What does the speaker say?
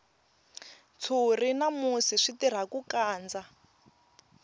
ntshuri na musi swi tirha ku kandza